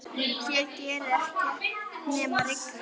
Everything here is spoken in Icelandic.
Hér gerir ekkert nema rigna.